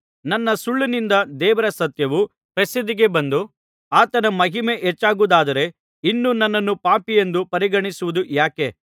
ನನ್ನ ಸುಳ್ಳಿನಿಂದ ದೇವರ ಸತ್ಯವು ಪ್ರಸಿದ್ಧಿಗೆ ಬಂದು ಆತನ ಮಹಿಮೆ ಹೆಚ್ಚಾಗುವುದಾದರೆ ಇನ್ನು ನನ್ನನ್ನು ಪಾಪಿಯೆಂದು ಪರಿಗಣಿಸುವುದು ಯಾಕೆ